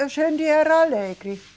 A gente era alegre.